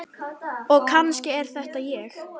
Og kannski er þetta ég.